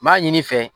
N b'a ɲini i fɛ